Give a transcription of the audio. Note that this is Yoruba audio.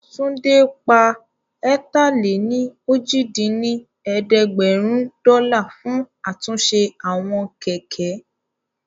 Túndé pa ẹ̀ta-lé-ní-ojì dín ní ẹ̀ẹ́dẹ́gbẹ́rún dọ́là fún àtúnṣe àwọn kẹ̀kẹ́